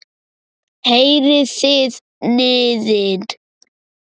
Heyrið þið niðinn?